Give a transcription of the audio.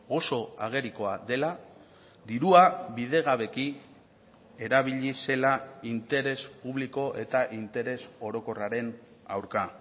oso agerikoa dela dirua bidegabeki erabili zela interes publiko eta interes orokorraren aurka